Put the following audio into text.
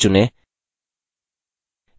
text चुनें